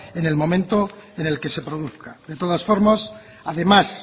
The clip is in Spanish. en el momento en el que se produzca de todas formas además